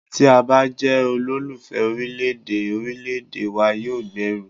Tí a bá jẹ́ olólùfẹ́ orílẹ̀ èdè, orílẹ̀èdè wa yóò gbèrú.